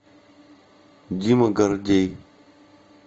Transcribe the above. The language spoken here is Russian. дима гордей